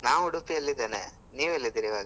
ನಾನ್ Udupi ಯಲ್ಲಿದ್ದೇನೆ. ನೀವ್ ಎಲ್ಲಿದ್ದೀರ ಇವಾಗ?